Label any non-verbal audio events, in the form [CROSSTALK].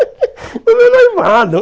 [LAUGHS] E não é noivado.